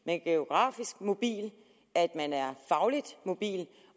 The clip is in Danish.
er geografisk mobil at man er fagligt mobil